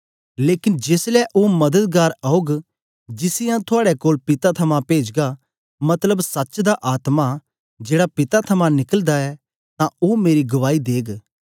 लेकन जेसलै ओ मददगार औग जिसी आऊँ थुआड़े कोल पिता थमां पेजगा मतलब सच्च दा आत्मा जेड़ा पिता थमां निकलदा ऐ तां ओ मेरी गवाही देग